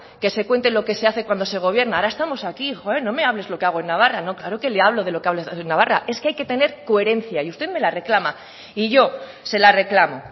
que se cuente lo que se hace cuando se gobierna ahora estamos aquí joe no me hables de lo que hago en navarra no claro que le hablo de lo que hace en navarra y es que hay que tener coherencia y usted me la reclama y yo se la reclamo